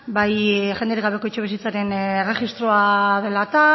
bai jenderik gabeko etxebizitzaren erregistroa dela eta